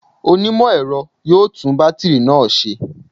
Onímọ̀-ẹ̀rọ yóò tún bátìrì náà ṣe